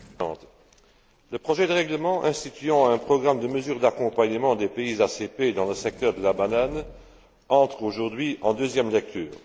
Madame la Présidente, le projet de règlement instituant un programme de mesures d'accompagnement des pays ACP dans le secteur de la banane entre aujourd'hui en deuxième lecture.